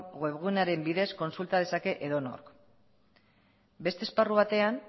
web gunearen bidez kontsulta dezake edonork beste esparru batean